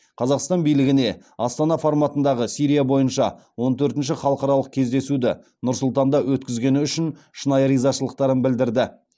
қазақстан билігіне астана форматындағы сирия бойынша он төртінші халықаралық кездесуді нұр сұлтанда өткізгені үшін шынайы ризашылықтарын білдірді